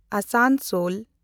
Asansol